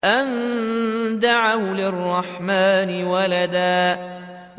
أَن دَعَوْا لِلرَّحْمَٰنِ وَلَدًا